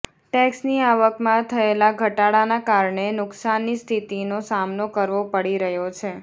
ટેક્સની આવકમાં થયેલા ઘટાડાના કારણે નુકસાનની સ્થિતિનો સામનો કરવો પડી રહ્યો છે